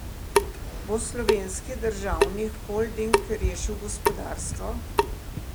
Bo slovenski državni holding rešil gospodarstvo?